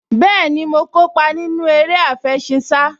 Bẹ́ẹ̀ni, mo kópa nínú eré àfẹṣinsá